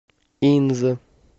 инза